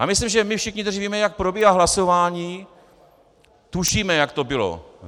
Já myslím, že my všichni, kteří víme, jak probíhá hlasování, tušíme, jak to bylo.